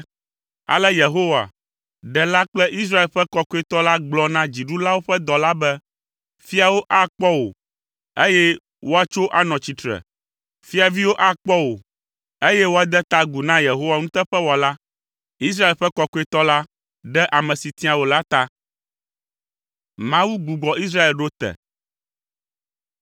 Ale Yehowa, Ɖela kple Israel ƒe Kɔkɔetɔ la gblɔ na dziɖulawo ƒe dɔla be, “Fiawo akpɔ wò, eye woatso anɔ tsitre. Fiaviwo akpɔ wò, eye woade ta agu na Yehowa nuteƒewɔla, Israel ƒe Kɔkɔetɔ la, ame si tia wò la ta.”